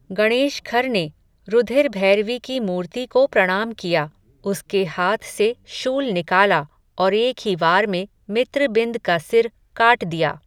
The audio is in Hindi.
गणेशखर ने, रुधिरभैरवी की मूर्ति को प्रणाम किया, उसके हाथ से, शूल निकाला, और एक ही वार में, मित्रबिंद का सिर, काट दिया